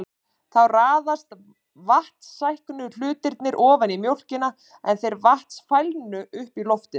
Þá raðast vatnssæknu hlutarnir ofan í mjólkina en þeir vatnsfælnu upp í loftið.